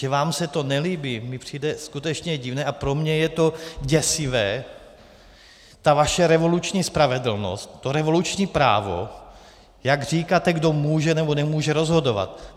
Že vám se to nelíbí, mi přijde skutečně divné a pro mě je to děsivé, ta vaše revoluční spravedlnost, to revoluční právo, jak říkáte, kdo může, nebo nemůže rozhodovat!